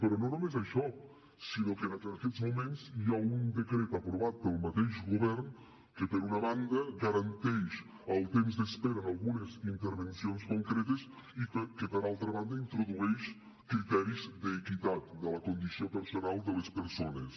però no només això sinó que en aquests moments hi ha un decret aprovat pel mateix govern que per una banda garanteix el temps d’espera en algunes intervencions concretes i que per altra banda introdueix criteris d’equitat de la condició personal de les persones